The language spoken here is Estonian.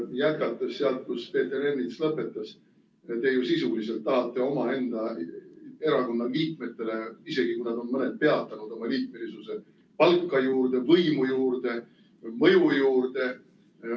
Jätkates sealt, kus Peeter Ernits lõpetas: te ju sisuliselt tahate omaenda erakonna liikmetele, isegi kui mõni neist on oma liikmesuse peatanud, palka juurde, võimu juurde, mõju juurde.